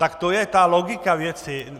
tak to je ta logika věci.